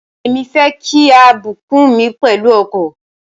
Èmi fẹ́ kí a bùkún mi pẹ̀lú ọkọ̀.